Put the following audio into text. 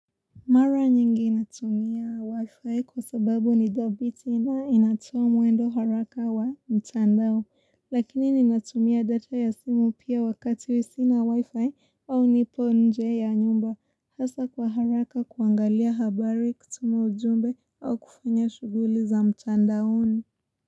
Mara nyingi natumia wifi kwa sababu ni dhabiti nao inatumu wendo haraka wa mtandao. Lakini ninatumia data ya simu pia wakati sina wifi au nipo nje ya nyumba. Hasa kwa haraka kuangalia habari kutuma ujumbe au kufanya shughuli za mtandaoni.